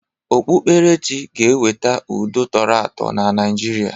Okpukperechi ga-eweta udo tọrọ atọ na Naịjirịa.